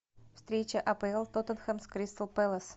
встреча апл тоттенхэм с кристал пэлас